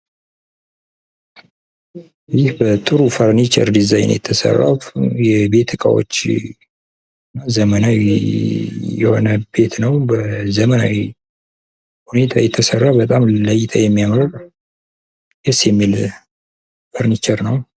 ይህ በጥሩ ፈርኒቸረ ዲዛይን የተሰራው የቤት እቃዎች እና ዘመናዊ የሆነ ቤት ነው። በዘመናዊ ሁኔታ የተሰራ ለእይታ የሚያምር ደስ የሚል ፈርኒቸር ነው።